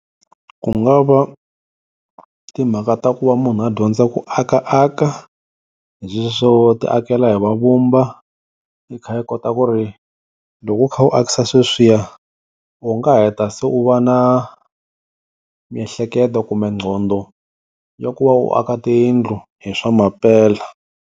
Ku nga va timhaka ta ku va munhu a dyondza ku akaka hi sweswo ti akela hi mavumba i kha i kota ku ri loko u kha u akisa sweswiya u nga heta se u va na miehleketo kumbe nqondo ya ku va u aka tiyindlu hi swa mampela.